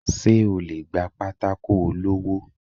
se o le gba pàtàkó olọwọ?